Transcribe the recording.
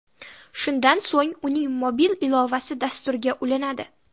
Shundan so‘ng uning mobil ilovasi dasturga ulanadi.